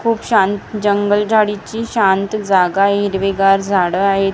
खूप शांत जंगल झाडीची शांत जागा आहे हिरवेगार झाडं आहेत निसर्ग--